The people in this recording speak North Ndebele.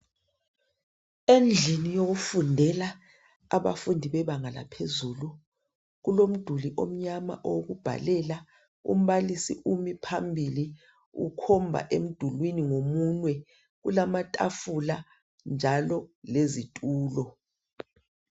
Endlini yokufundela yebanga laphezulu kulomduli omnyama okubhalela umbalisi umile phambili ukhomba emdulwini ngomunwe ,njalo kulamatafula lezitulo.